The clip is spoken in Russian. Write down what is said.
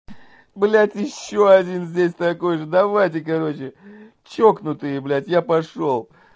блять ещё один здесь такой же давайте короче чокнутые блять я пошёл